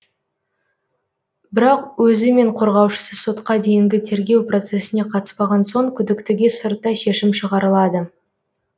бірақ өзі мен қорғаушысы сотқа дейінгі тергеу процесіне қатыспаған соң күдіктіге сырттай шешім шығарылады